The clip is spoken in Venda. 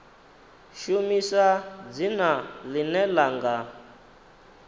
shumisa dzina ḽine ḽa nga